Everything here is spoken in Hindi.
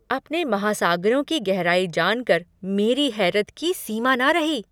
अपने महासागरों की गहराई जान कर मेरी हैरत की सीमा न रही!